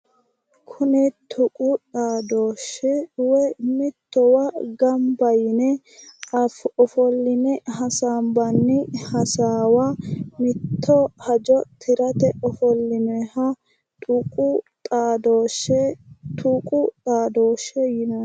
Kuni tuqu xaadooshshe woyi mittowa gamba yine ofolline hasaambanni hasaawa mitte hajo tirate ofollinayiha tuqu xaadooshshe tuqu xaadooshshe yinanni.